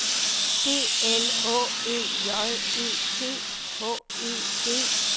B L Å Ø J E T H E D